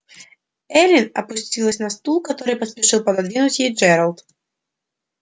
эллин опустилась на стул который поспешил пододвинуть ей джералд